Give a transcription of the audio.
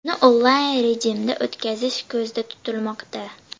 Uni onlayn rejimda o‘tkazish ko‘zda tutilmoqda.